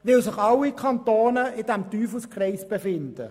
– Weil sich alle Kantone in diesem Teufelskreis befinden.